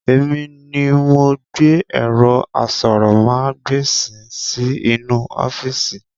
Èmi ni mo gbé ẹ̀rọ aṣórómagbesìn sì inú ọ́fíìsì